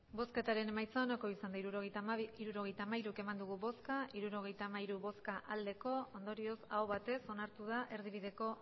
hirurogeita hamairu eman dugu bozka hirurogeita hamairu bai ondorioz aho batez onartu da erdibideko